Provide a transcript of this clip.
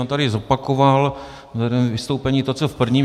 On tady zopakoval v druhém vystoupení to, co v prvním.